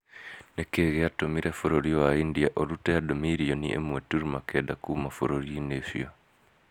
Nĩ kĩĩ gĩatũmire bũrũri wa India ũrute andũ mirioni ĩmwe turuma kenda kuuma bũrũri-inĩ ũcio?